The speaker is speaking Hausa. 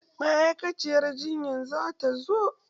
Ma'aikaciyar jinyan zata zo?